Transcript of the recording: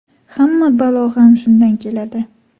Hamma balo ham shundan keladi.